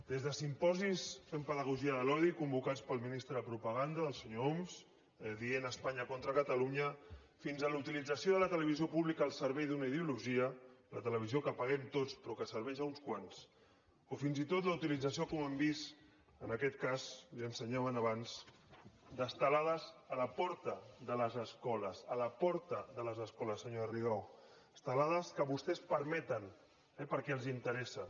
des de simposis fent pedagogia de l’odi convocats pel ministre de propaganda del senyor homs dient espanya contra catalunya fins a la utilització de la televisió pública al servei d’una ideologia la televisió que paguem tots però que serveix uns quants o fins i tot la utilització com hem vist en aquest cas l’hi ensenyaven abans d’estelades a la porta de les escoles a la porta de les escoles senyora rigau estelades que vostès permeten perquè els interessa